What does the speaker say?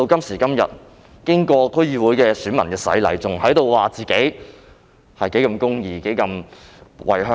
時至今天，經歷區議會的洗禮，卻依然在說自己如何公義及如何為香港。